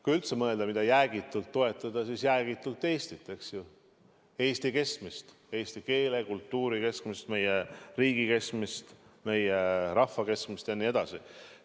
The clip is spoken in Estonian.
Kui üldse mõelda, mida jäägitult toetada, siis Eestit, Eesti kestmist, eesti keele, kultuuri kestmist, meie riigi kestmist, meie rahva kestmist jne.